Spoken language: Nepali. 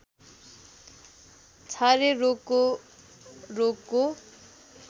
छारे रोगको रोगको